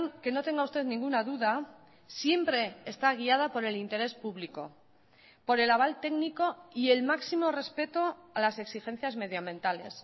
que no tenga usted ninguna duda siempre está guiada por el interés público por el aval técnico y el máximo respeto a las exigencias medioambientales